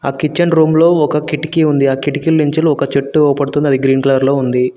ఆ kitchen room లో ఒక కిటికీ ఆ కిటికీ నుంచి ఒక చెట్టు ఉంది అది గ్రీన్ కలర్ లో ఉంది.